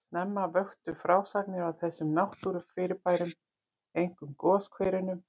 Snemma vöktu frásagnir af þessum náttúrufyrirbærum, einkum goshverunum,